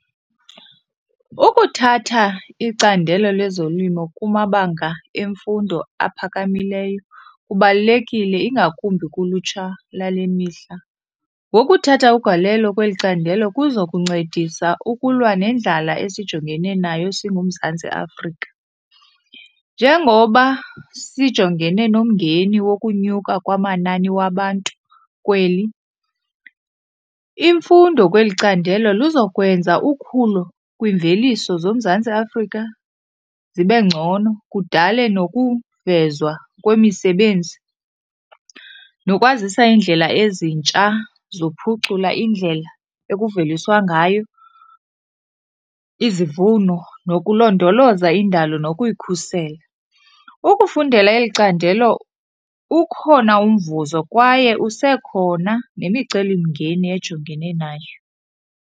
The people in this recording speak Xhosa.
Ukuthatha icandelo lezolimo kumabanga emfundo aphakamileyo kubalulekile, ingakumbi kulutsha lale mihla. Ngokuthatha ugalelo kweli candelo kuzokuncedisa ukulwa nendlala esijongene nayo singuMzantsi Afrika. Njengoba sijongele nomngeni wokunyuka kwamanani wabantu kweli, imfundo kweli candelo luzokwenza ukhulo kwimveliso zoMzantsi Afrika zibe ngcono, kudale nokuvezwa kwemisebenzi nokwazisa iindlela ezintsha zokuphucula indlela ekuveliswa ngayo izivuno nokulondoloza indalo nokuyikhusela. Ukufundela eli candelo ukhona umvuzo kwaye usekhona nemicelimngeni ejongene nayo.